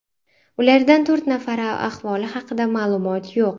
Ulardan to‘rt nafari ahvoli haqida ma’lumot yo‘q.